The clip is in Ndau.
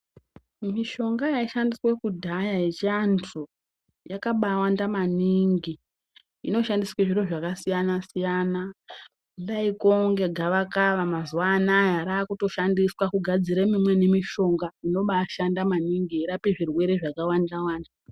Mishonga yaishandiswa kudhaya yechivandu yakambai wanda maningi inoshandiswa zviro zvakasiyana siyana kudai kunge gavakava mazuva anaya raakutoshandiswa kugadzira imweni mishonga inombaishanda maningi yeirape zvirwere zvakawanda wanda.